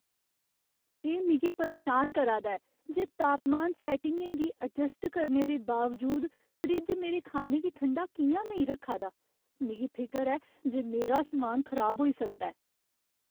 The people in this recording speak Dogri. एह् मिगी परेशान करा दा ऐ जे तापमान सैट्टिंगें गी अजस्ट करने दे बावजूद फ्रिज मेरे खाने गी ठंडा कि'यां नेईं रक्खा दा मिगी फिकर ऐ जे मेरा समान खराब होई सकदा ऐ।